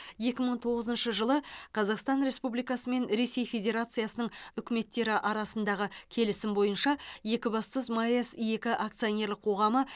екі мың тоғызыншы жылы қазақстан республикасы мен ресей федерациясының үкіметтері арасындағы келісім бойынша екібастұз маэс екі акционерлік қоғамы